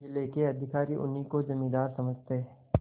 जिले के अधिकारी उन्हीं को जमींदार समझते